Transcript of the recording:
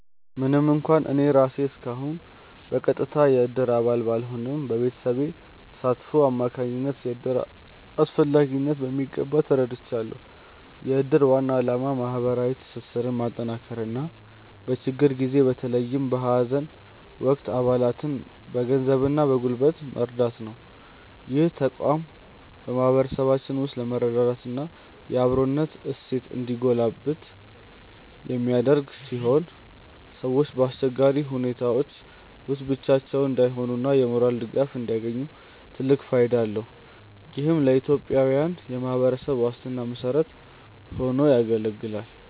ምንም እንኳን እኔ ራሴ እስካሁን በቀጥታ የእድር አባል ባልሆንም፣ በቤተሰቤ ተሳትፎ አማካኝነት የእድርን አስፈላጊነት በሚገባ ተረድቻለሁ። የእድር ዋና ዓላማ ማህበራዊ ትስስርን ማጠናከርና በችግር ጊዜ በተለይም በሀዘን ወቅት አባላትን በገንዘብና በጉልበት መርዳት ነው። ይህ ተቋም በማህበረሰባችን ውስጥ የመረዳዳትና የአብሮነት እሴት እንዲጎለብት የሚያደርግ ሲሆን፣ ሰዎች በአስቸጋሪ ሁኔታዎች ውስጥ ብቻቸውን እንዳይሆኑና የሞራል ድጋፍ እንዲያገኙ ትልቅ ፋይዳ አለው። ይህም ለኢትዮጵያዊያን የማህበራዊ ዋስትና መሰረት ሆኖ ያገለግላል።